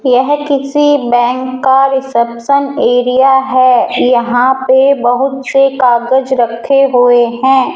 यह किसी बैंक का रिसेप्शन एरिया है यहां पे बहुत से कागज रखे हुए हैं।